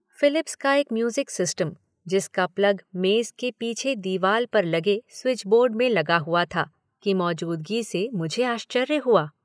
Philips का एक music system, जिसका प्लग मेज़ के पीछे दीवाल पर लगे स्विच बोर्ड में लगा हुआ था, की मौजूदगी से मुझे आश्चर्य हुआ।